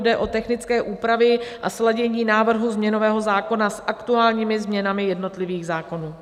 Jde o technické úpravy a sladění návrhu změnového zákona s aktuálními změnami jednotlivých zákonů.